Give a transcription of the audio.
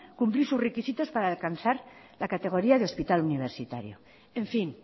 cumplir sus requisitos para alcanzar la categoría de hospital universitario en fin